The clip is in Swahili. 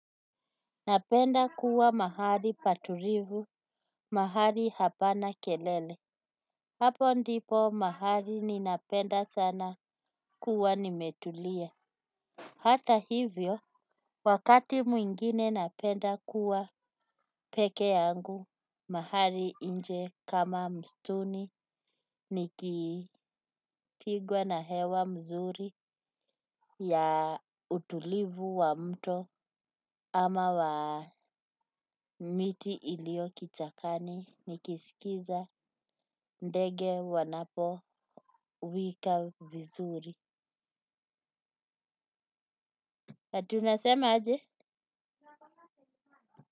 Napenda kuwa mahali patulivu, mahali hapana kelele. Hapo ndipo mahali ninapenda sana kuwa nimetulia. Hata hivyo wakati mwingine napenda kuwa peke yangu mahali nje kama msituni nikipigwa na hewa mzuri ya utulivu wa mto ama wa miti ilio kichakani nikisikiza ndege wanapowika vizuri, ati unasema aje.